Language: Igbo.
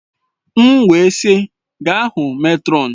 M wee sị, gaa hụ mètrọn!